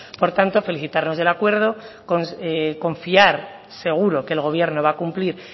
por tanto felicitarnos del acuerdo confiar seguro que el gobierno va a cumplir